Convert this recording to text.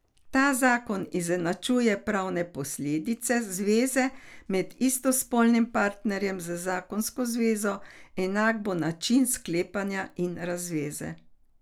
Ta zakon izenačuje pravne posledice zveze med istospolnima partnerjema z zakonsko zvezo, enak bo način sklepanja in razveze.